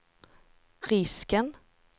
risken